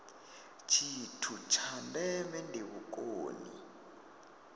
tshithu tsha ndeme ndi vhukoni